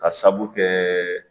Ka sabu kɛ